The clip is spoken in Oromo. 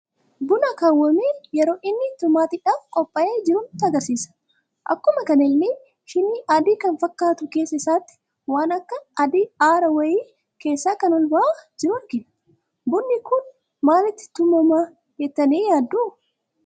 Buna Akaa'amee yeroo inni tumaatiidhaf qopha'ee jiru nutti agarsiisa. Akkuma kanallee shiinii adii kan fakkatu keessa isaati waan akka adii aaraa wayi keessa kan ol ba'aa jiru argina. Bunni kun maalitti tumaama jettani yaaddu?